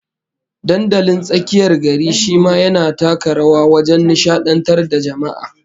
Dandalin tsakiyar gari shi ma yana taka rawa wajen nishadantar da jama'a